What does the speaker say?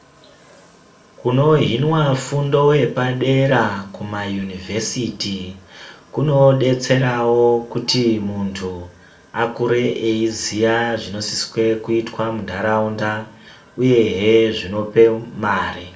Kuno hinwa fundo yepa dera kuma yunivhesiti kuno detserawo kuti muntu akure eyi ziya zvino siswe kuitwa mu ndaraunda uyehe zvinopa mare.